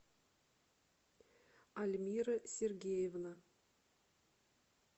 альмира сергеевна